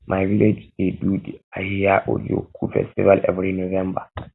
my village dey um do di ahia ajoku festival every november